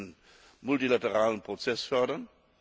Wir müssen den multilateralen Prozess fördern.